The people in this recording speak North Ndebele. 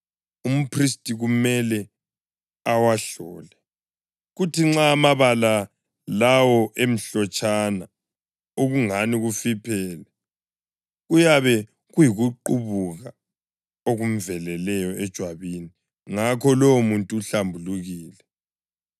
umphristi kumele awahlole, kuthi nxa amabala lawo emhlotshana okungani kufiphele, kuyabe kuyikuqubuka okumveleleyo ejwabini; ngakho lowomuntu uhlambulukile.